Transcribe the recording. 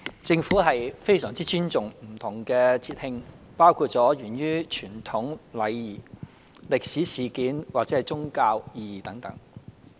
政府非常尊重不同的節慶，包括源於傳統禮儀、歷史事件或宗教意義等。